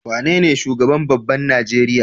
Wane ne shugaban babban Nigeria?